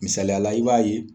Misaliyala i b'a ye